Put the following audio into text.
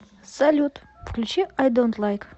салют включи ай донт лайк